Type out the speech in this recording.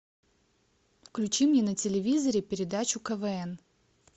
включи мне на телевизоре передачу квн